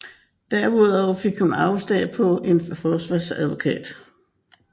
Derudover fik hun afslag på en forsvarsadvokat